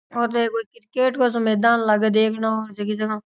और ये तो कोई क्रिकेट का मैदान लागे देखने में --